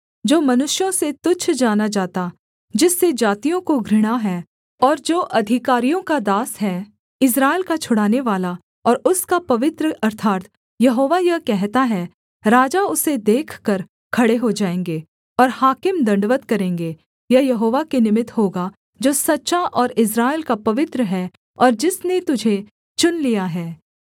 जो मनुष्यों से तुच्छ जाना जाता जिससे जातियों को घृणा है और जो अधिकारियों का दास है इस्राएल का छुड़ानेवाला और उसका पवित्र अर्थात् यहोवा यह कहता है राजा उसे देखकर खड़े हो जाएँगे और हाकिम दण्डवत् करेंगे यह यहोवा के निमित्त होगा जो सच्चा और इस्राएल का पवित्र है और जिसने तुझे चुन लिया है